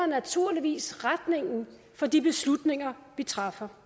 naturligvis retningen for de beslutninger vi træffer